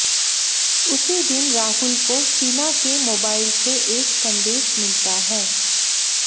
उसी दिन राहुल को शीना के मोबाइल से एक संदेश मिलता है